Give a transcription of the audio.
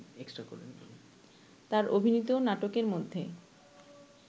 তার অভিনীত নাটকের মধ্যে